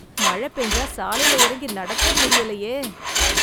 மழ பெஞ்சா சாலைல இறங்கி நடக்க முடியலையே.